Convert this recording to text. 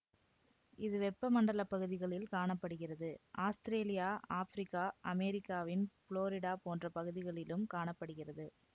இது வெப்ப மண்டல பகுதிகளில் காண படுகிறது ஆஸ்திரேலியா ஆபிரிக்கா அமெரிக்கவின் புளோரிடா போன்ற பகுதிகளிலும் காண படுகிறது